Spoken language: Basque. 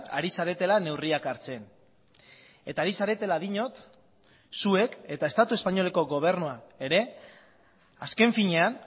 ari zaretela neurriak hartzen eta ari zaretela diot zuek eta estatu espainoleko gobernuak ere azken finean